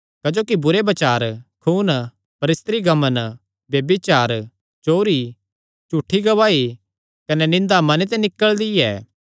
क्जोकि बुरे बचार खून परस्त्रीगमन ब्यभिचार चोरी झूठी गवाही कने निंदा मने ते निकल़दी ऐ